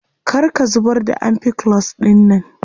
Kar ka zubar da ampiclox dinnan.